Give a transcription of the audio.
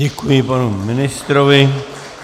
Děkuji panu ministrovi.